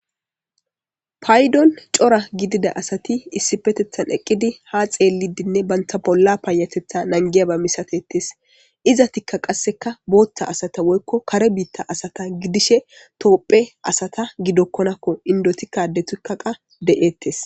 paydon cora gidida asati issipetethan eqqidi ha xeellidinne bantha bolla paayatetha nangiyaba misatettes iza tikka qasseka booththa asata woykko kare biitta asata gidishe toopphe asata gidokkonakko indotikkade tukkaqa de7ettes